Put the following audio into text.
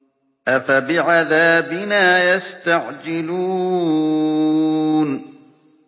أَفَبِعَذَابِنَا يَسْتَعْجِلُونَ